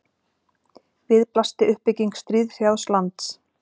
við blasti uppbygging stríðshrjáðs lands